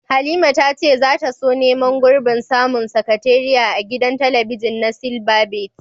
Halima ta ce za ta so neman gurbin zama sakatariya a gidan talabijin na silbabet.